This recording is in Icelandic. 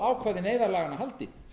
ákvæði neyðarlaganna haldi